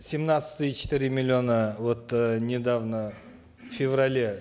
семнадцать и четыре миллиона вот э недавно в феврале